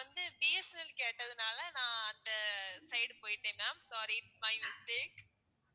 நீங்க வந்து B. S. N. L கேட்டதுனால நான் அந்த side போயிட்டேன் ma'am sorry my mistake